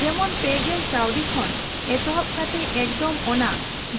ᱡᱮᱢᱚᱱ ᱯᱮ ᱜᱮᱞ ᱠᱟᱣᱰᱤ ᱠᱷᱚᱱ ᱮᱛᱚᱦᱚᱵ ᱠᱟᱛᱮ ᱮᱠᱫᱚᱢ ᱚᱱᱟ